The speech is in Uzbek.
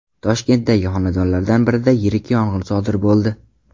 Toshkentdagi xonadonlardan birida yirik yong‘in sodir bo‘ldi .